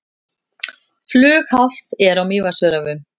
Flughált er á Mývatnsöræfum